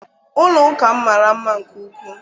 Ụlọ ụka mara mma nke ukwu.